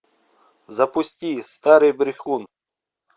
запусти старый брехун